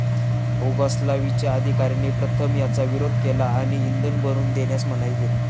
उगोस्लावियाच्या अधिकाऱ्यांनी प्रथम याचा विरोध केला आणि इंधन भरून देण्यास मनाई केली.